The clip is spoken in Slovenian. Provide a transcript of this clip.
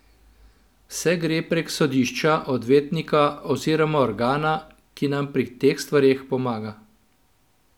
Vse gre prek sodišča, odvetnika oziroma organa, ki nam pri teh stvareh pomaga.